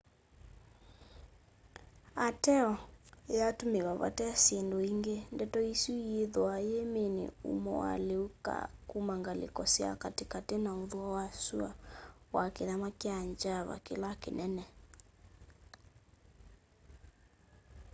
ateo yatumiwa vate syindu ingi ndeto isu yithwaa yiimini umo wa liu kuma ngaliko sya katikati na uthuo wa syua wa kithama kya java kila kinene